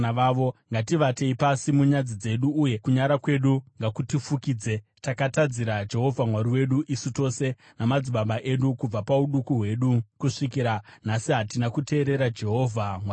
Ngativatei pasi munyadzi dzedu, uye kunyara kwedu ngakutifukidze. Takatadzira Jehovha Mwari wedu, isu tose namadzibaba edu; kubva pauduku hwedu kusvikira nhasi hatina kuteerera Jehovha Mwari wedu.”